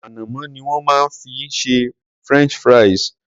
Ànàmọ́ ni wón má fi ń ṣe French fries.